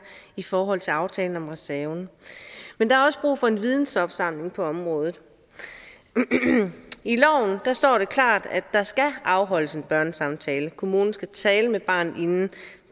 i forhold til aftalen om reserven men der er også brug for en vidensopsamling på området i loven står der klart at der skal afholdes en børnesamtale kommunen skal tale med barnet inden